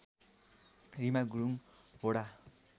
Reema Gurung Hoda